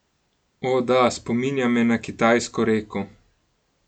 O, da, spominja me na kitajsko reko.